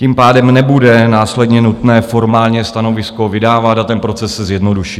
Tím pádem nebude následně nutné formálně stanovisko vydávat a ten proces se zjednoduší